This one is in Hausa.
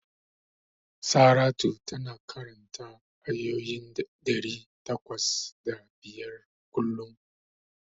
Saratu tana karanta ayoyi ɗari takwas da biyar kullum.